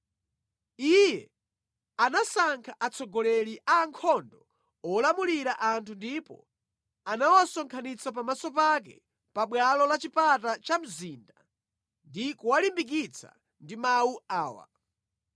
Iye anasankha atsogoleri a ankhondo olamulira anthu ndipo anawasonkhanitsa pamaso pake pa bwalo la chipata cha mzinda ndi kuwalimbikitsa ndi mawu awa: